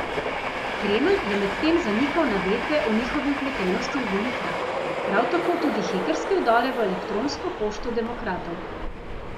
Kremelj je medtem zanikal navedbe o njihovi vpletenosti v volitve, prav tako tudi hekerske vdore v elektronsko pošto demokratov.